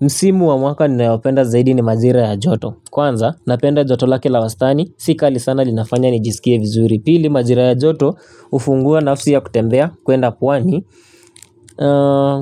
Msimu wa mwaka ni nayopenda zaidi ni majira ya joto. Kwanza, napenda joto lake la wastani, sika li sana li nafanya ni jisikie vizuri. Pili, majira ya joto ufungua nafsi ya kutembea, kwenda pwani,